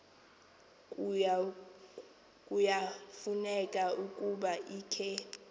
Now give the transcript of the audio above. kuyafuneka ukuba ikhe